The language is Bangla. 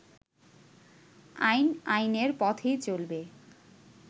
আইন আইনের পথেই চলবে